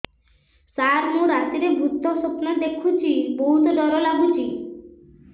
ସାର ମୁ ରାତିରେ ଭୁତ ସ୍ୱପ୍ନ ଦେଖୁଚି ବହୁତ ଡର ଲାଗୁଚି